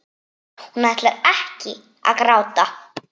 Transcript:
Hún ætlar ekki að gráta.